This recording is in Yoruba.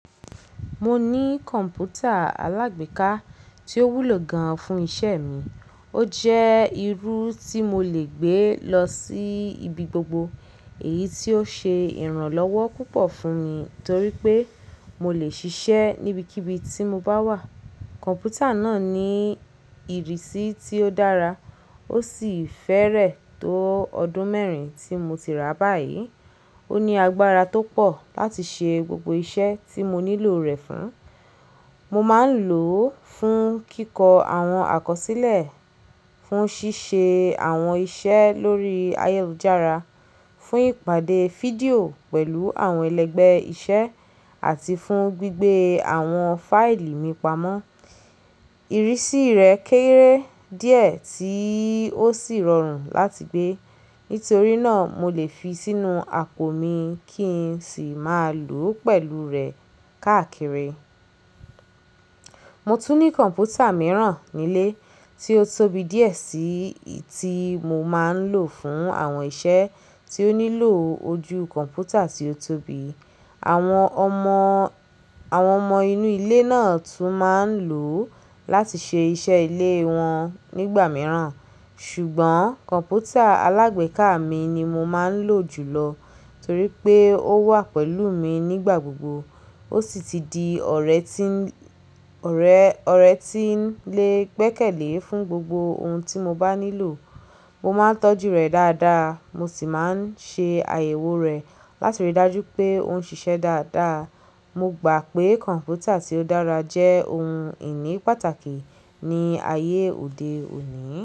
Mo ní kọ̀ǹpútà alágbèéká tí ó wúlò gan-an fún iṣẹ́ mi. Ó jẹ́ irú tí mo lè gbé lọ sí ibi gbogbo, èyí tí ó ṣe ìrànlọ́wọ́ púpọ̀ fún mi torí pé mo lè ṣiṣẹ́ níbikíbi tí mo bá wà. Kọ̀ǹpútà náà ní ìrísí tí ó dára, ó sì fẹ́rẹ̀ tó ọdún mẹ́rin tí mo ti rà báyìí. Ó ní agbára tó pọ̀ láti ṣe gbogbo iṣẹ́ tí mo nílò rẹ̀ fún. Mo máa ń lò ó fún kíkọ́ àwọn àkọsílẹ̀, fún ṣíṣe àwọn iṣẹ́ lórí ayélujára, fún ìpàdé fídíò pẹ̀lú àwọn ẹlẹ́gbẹ́ iṣẹ́ àti fún gbígbé àwọn fáìlì mí pamọ́. Ìrísí rẹ̀ kéré díẹ̀ tí ó sì rọrùn láti gbé. Nítorí náà, mo lè fi sínú apò mi kí n sì máa lò ó pẹ̀lú rẹ̀ káàkiri. Mo tún ní kọ̀ǹpútà mìíràn nílé tí ó tóbi díẹ̀ sí i tí mo máa ń lò fún àwọn iṣẹ́ tí ó nílò ojú kọ̀ǹpútà tí ó tóbi. Àwọn ọmọ, àwọn ọmọ inú ilé náà tún máa ń lò ó láti ṣe iṣẹ́ ilé wọn nígbà mìíràn. Ṣùgbọ́n kọ̀ǹpútà alágbèéká mi ni mo máa ń lò jùlọ torí pé ó wà pẹ̀lú mi nígbà gbogbo. Ó sì ti di ọ̀rẹ́ tí, ọ̀rẹ́, ọ̀rẹ́ tí ń le gbẹ́kẹ̀lé fún gbogbo ohun tí mo bá nílò. Mo máa ń tọ́jú rẹ̀ dáadáa, mo sì máa ń ṣe àyẹ̀wò rẹ̀ láti rí i dájú pé ó ń ṣiṣẹ́ dáadáa. Mo gbà pé kọ̀ǹpútà tí ó dára jẹ́ ohun ìní pàtàkì ní ayé òde òní.